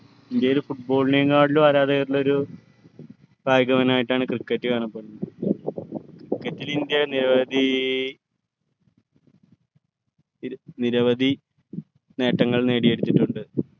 ഇന്ത്യയിൽ football നെകാട്ടിലു ആരാധകരുള്ള ഒരു കായികമായിട്ടാണ് cricket കാണപ്പെടുന്നത് cricket ൽ ഇന്ത്യ നിരവധി നിരവധി നേട്ടങ്ങൾ നേട്ടങ്ങൾ നേടിയെടുത്തിട്ടുണ്ട്